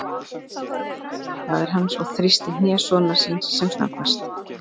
Ég veit, sagði faðir hans og þrýsti hné sonar síns sem snöggvast.